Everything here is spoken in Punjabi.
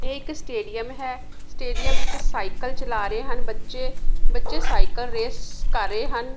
ਇਹ ਇੱਕ ਸਟੇਡੀਅਮ ਹੈ ਸਟੇਡੀਅਮ ਵਿੱਚ ਸਾਈਕਲ ਚਲਾ ਰਹੇ ਹਨ ਬੱਚੇ ਬੱਚੇ ਸਾਈਕਲ ਰੇਸ ਕਰ ਰਏ ਹਨ।